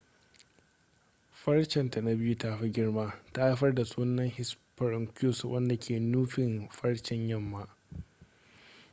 farcen ta na biyu ta fi girma ta haifar da sunan hesperonychus wanda ke nufin farcen yamma